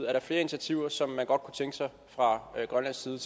er der flere initiativer som man fra grønlands side